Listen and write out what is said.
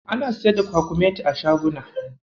Ana siyar da kwakumeti a shaguna.